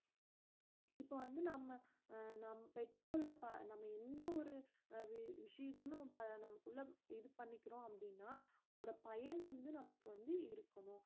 இப்ப வந்து நம்ம அஹ் நம் பெற்றுக்கொள்ள ப~ நாம எந்த ஒரு அஹ் வி~ விஷயத்துலயும் இப்ப நமக்குள்ள இது பண்ணிக்கறோம் அப்படின்னா அதோட பயன் வந்து நமக்கு வந்து இருக்கணும்